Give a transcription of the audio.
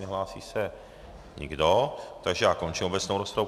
Nehlásí se nikdo, takže já končím obecnou rozpravu.